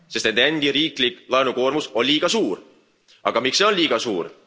Sest nende endi riiklik laenukoormus on liiga suur. Aga miks see on liiga suur?